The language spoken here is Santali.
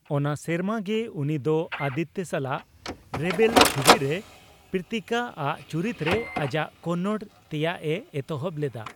ᱚᱱᱟ ᱥᱮᱨᱢᱟ ᱜᱮ ᱩᱱᱤ ᱫᱚ ᱟᱫᱤᱛᱛᱚ ᱥᱟᱞᱟᱜ ᱨᱮᱵᱮᱞ ᱪᱷᱩᱵᱤ ᱨᱮ ᱯᱨᱤᱛᱤᱠᱟ ᱟᱜ ᱪᱩᱨᱤᱛ ᱨᱮ ᱟᱡᱟᱜ ᱠᱚᱱᱱᱚᱲ ᱛᱮᱭᱟᱜᱼᱮ ᱮᱛᱚᱦᱚᱵ ᱞᱮᱫᱟ ᱾